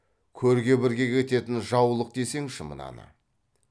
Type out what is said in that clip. көрге бірге кететін жаулық десеңші мынаны